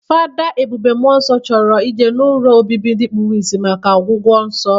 Fada Ebube Muonso chọrọ ije n'ụlọ obibi ndi kpuru isi maka ọgwụgwọ nsọ.